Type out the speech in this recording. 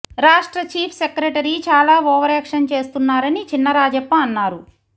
రాష్ట్ర chief secretary చాలా overaction చేస్తున్నారని చిన్నరాజప్ప అన్నారు